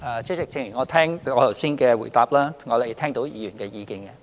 主席，正如我剛才的答覆，我們已聽到議員的意見。